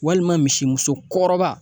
Walima misimuso kɔrɔba